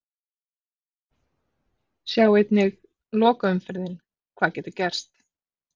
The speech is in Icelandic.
Sjá einnig: Lokaumferðin- Hvað getur gerst?